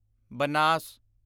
Banas